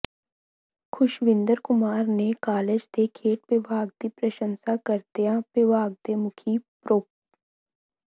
ਖੁਸ਼ਵਿੰਦਰ ਕੁਮਾਰ ਨੇ ਕਾਲਜ ਦੇ ਖੇਡ ਵਿਭਾਗ ਦੀ ਪ੍ਰਸ਼ੰਸਾ ਕਰਦਿਆਂ ਵਿਭਾਗ ਦੇ ਮੁਖੀ ਪ੍ਰੋ